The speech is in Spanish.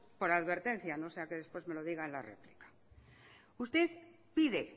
por advertencia no sea que después me lo diga en la réplica usted pide